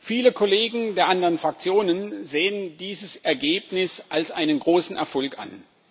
Viele Kollegen der anderen Fraktionen sehen dieses Ergebnis als einen großen Erfolg an.